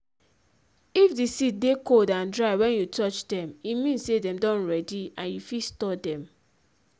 if di seed dey cold and dry wen you touch dem e mean say dem don ready and you fit store dem.